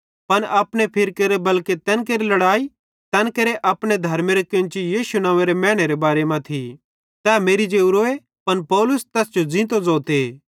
पन अपने फिरकेरे बल्के तैन केरि लड़ाई तैन केरे अपने धर्मेरे केन्ची यीशु नव्वेंरे मैनेरे बारे मां थी तै मेरि जेवरोए पन पौलुस तैस जो ज़ींतो ज़ोते